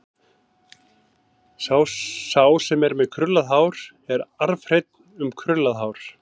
Sá sem er með krullað hár er arfhreinn um krullað hár.